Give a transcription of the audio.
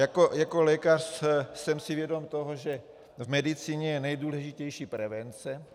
Jako lékař jsem si vědom toho, že v medicíně je nejdůležitější prevence.